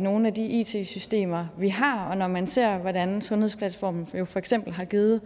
nogle af de it systemer vi har og når man ser hvordan sundhedsplatformen jo for eksempel har givet